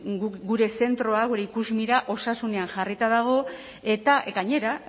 guk gure zentroa gure ikusmira osasunean jarrita dago eta gainera